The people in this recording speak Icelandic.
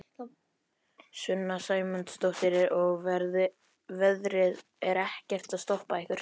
Sunna Sæmundsdóttir: Og veðrið er ekkert að stoppa ykkur?